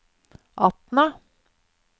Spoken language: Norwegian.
Atna